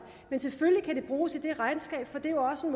men selvfølgelig kan det bruges i det regnskab for det er jo også